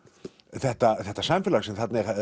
þetta þetta samfélag sem þarna er